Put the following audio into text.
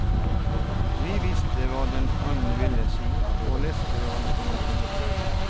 Vi visste hva den annen ville si og leste hverandres tanker.